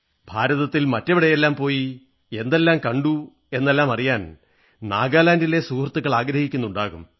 ഭാരതത്തിൽ മറ്റെവിടെയെല്ലാം പോയി എന്തെല്ലാം കണ്ടു എന്നെല്ലാം അറിയാൻ നാഗാലാന്റിലെ സുഹൃത്തുക്കൾ അറിയാനാഗ്രഹിക്കുന്നുണ്ടാകും